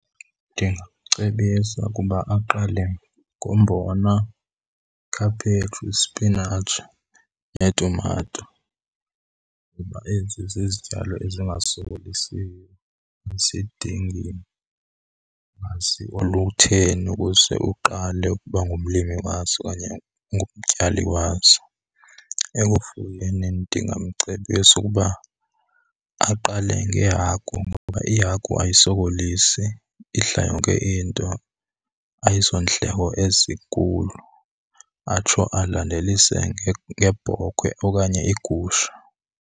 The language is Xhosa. Ndingamcebisa ukuba aqale ngombona, ikhaphetshu, ispinatshi neetumato kuba ezi zizityalo ezingasokolisiyo, azidingi lwazi olutheni ukuze uqale ukuba ngumlimi wazo okanye ngumtyali wazo. Ekufuyeni ndingamcebisa ukuba aqale ngehagu ngokuba ihagu ayisokolisi idla yonke into, ayizondleko ezinkulu. Atsho alandelise ngeebhokhwe okanye iigusha.